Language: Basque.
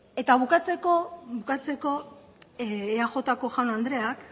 eta bukatzeko eajko jaun andreak